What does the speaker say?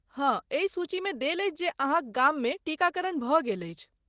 हँ, एहि सूचीमे देल अछि जे अहाँक गाममे टीकाकरण भऽ गेल अछि।